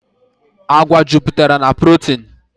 Àgwà juputere na prọteenú